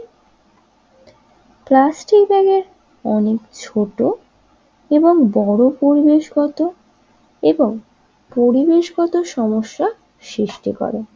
plastic আগে অনেক ছোট এবং বড় পরিবেশগত এবং পরিবেশগত সমস্যা সৃষ্টি করে